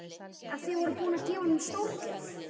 En þið voruð búin að gefa honum stórgjöf.